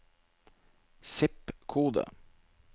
zip-kode